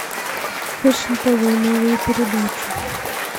фэшн тв новые передачи